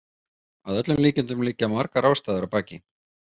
Að öllum líkindum liggja margar ástæður að baki.